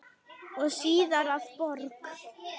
og síðar að borg.